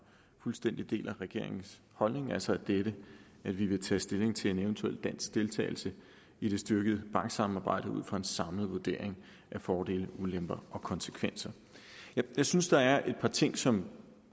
fuldstændig deler regeringens holdning altså dette at vi vil tage stilling til en eventuel dansk deltagelse i det styrkede banksamarbejde ud fra en samlet vurdering af fordele ulemper og konsekvenser jeg synes der er et par ting som